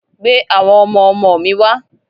Gbé àwọn ọmọ ọmọ mi wá!